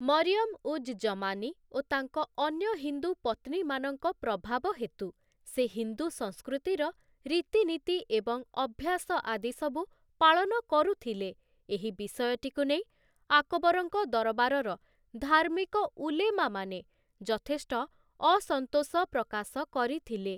ମରିୟମ ଉଜ୍ ଜମାନୀ ଓ ତାଙ୍କ ଅନ୍ୟ ହିନ୍ଦୁ ପତ୍ନୀମାନଙ୍କ ପ୍ରଭାବ ହେତୁ ସେ ହିନ୍ଦୁ ସଂସ୍କୃତିର ରୀତିନୀତି ଏବଂ ଅଭ୍ୟାସ ଆଦି ସବୁ ପାଳନ କରୁଥିଲେ, ଏହି ବିଷୟଟିକୁ ନେଇ ଆକବରଙ୍କ ଦରବାରର ଧାର୍ମିକ ଉଲେମା ମାନେ ଯଥେଷ୍ଟ ଅସନ୍ତୋଷ ପ୍ରକାଶ କରିଥିଲେ ।